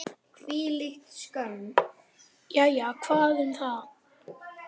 Jæja, hvað um það.